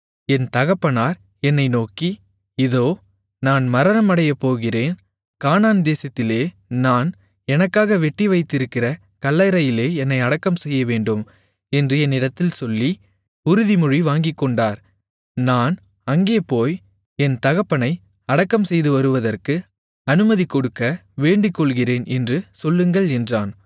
என் தகப்பனார் என்னை நோக்கி இதோ நான் மரணமடையப்போகிறேன் கானான் தேசத்திலே நான் எனக்காக வெட்டிவைத்திருக்கிற கல்லறையிலே என்னை அடக்கம் செய்யவேண்டும் என்று என்னிடத்தில் சொல்லி உறுதிமொழி வாங்கிக்கொண்டார் நான் அங்கே போய் என் தகப்பனை அடக்கம்செய்து வருவதற்கு அனுமதிகொடுக்க வேண்டிக்கொள்ளுகிறேன் என்று சொல்லுங்கள் என்றான்